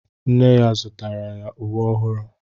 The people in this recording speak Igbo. Nne ya zụtara ya uwe ọhụụ